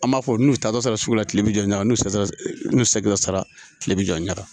An b'a fɔ n'u taar'a sɔrɔ sugu la kile bɛ jɔ ka n'u sera n'u sekila sara tile bi jɔ ɲaga